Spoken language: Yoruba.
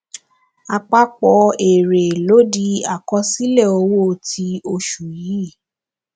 àpapọ èrè ló di àkọsílẹ owó ti oṣù yìí